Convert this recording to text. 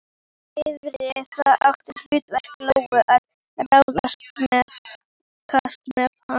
Yrði það þá hlutverk Lóu að ráðskast með hana?